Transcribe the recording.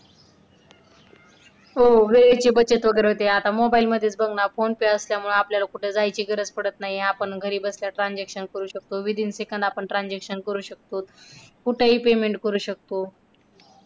हो वेळेची बचत वगैरे होते आता mobile मध्येच बघ ना phone pay वगैरे असल्यामुळे आपल्याला कुठे जायची गरज पडत नाही आपण घरी बसल्या transaction करू शकतो within seconds आपण transaction करू शकतो. कुठेही payment करू शकतो.